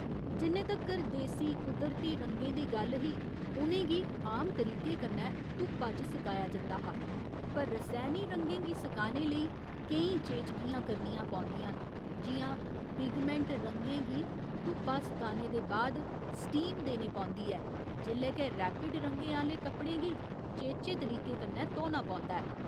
जिन्ने तगर देसी कुदरती रंगें दी गल्ल ही उ'नें गी आम तरीके कन्नै धुप्पा च सकाया जंदा हा पर रसैनी रंगें गी सकाने लेई केईं चेचगियां करनियां पौंदियां न जि'यां पिगमैंट रंगें गी धुप्पा सकाने दे बाद स्टीम देने पौंदी ऐ जेल्लै के रैपिड रंगें आह्‌ले कपड़ें गी चेचे तरीके कन्नै धोना पौंदा ऐ।